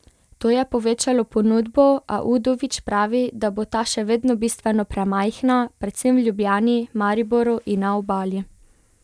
To je povečalo ponudbo, a Udovič pravi, da bo ta še vedno bistveno premajhna, predvsem v Ljubljani, Mariboru in na Obali.